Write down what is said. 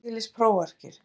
Jú ég les prófarkir.